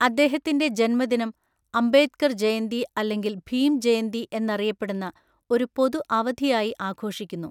അദ്ദേഹത്തിന്റെ ജന്മദിനം അംബേദ്കർ ജയന്തി അല്ലെങ്കിൽ ഭീം ജയന്തി എന്നറിയപ്പെടുന്ന ഒരു പൊതു അവധിയായി ആഘോഷിക്കുന്നു.